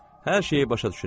Hər şeyi başa düşürəm.